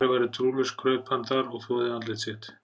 Þótt Ari væri trúlaus kraup hann þar og þvoði andlit sitt.